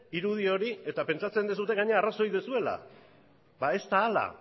irudi hori eta pentsatzen duzue gainera arrazoi duzuela ba ez da hala